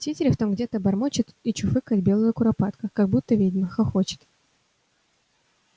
тетерев там где-то бормочет и чуфыкает белая куропатка как будто ведьма хохочет